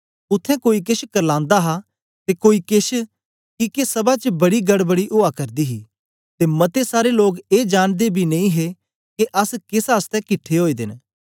उत्थें कोई केछ करलांदा हा ते कोई केछ किके सभा च बड़ी गड़बड़ी ओआ करदी ही ते मते सारे लोग ए जांनदे बी नेई हे के अस केस आसतै किट्ठे ओए दे न